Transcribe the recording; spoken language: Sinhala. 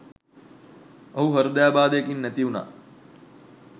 ඔහු හෘදයාබාධයකින් නැති උනා